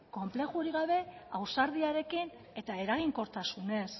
konplexurik gabe ausardiarekin eta eraginkortasunez